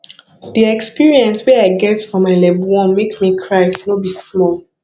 di experience way i get for my level 1 make me cry no be small